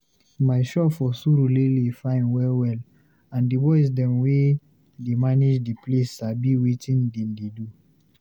My shop for Surulere fine well-well, and di boys dem wey dey manage de place sabi wetin dem dey do.